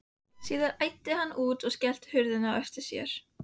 Síðan æddi hann út og skellti hurðinni á eftir sér.